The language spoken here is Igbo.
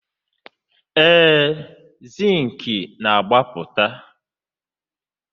Ee, Zịnkị na-agbapụta